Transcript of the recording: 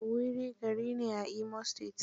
Owerri gari ne a Imo state.